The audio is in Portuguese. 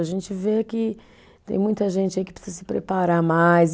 A gente vê que tem muita gente aí que precisa se preparar mais.